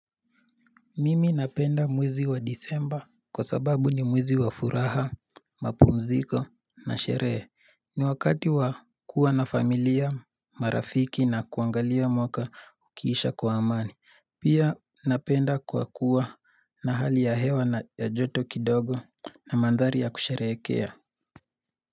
Mimi napenda mwizi wa disemba kwa sababu ni mwizi wa furaha, mapumziko na sheree ni wakati wa kuwa na familia marafiki na kuangalia mwaka ukiisha kwa amani Pia napenda kwa kuwa. Na hali ya hewa na ya joto kidogo na mandhari ya kusherekea ya.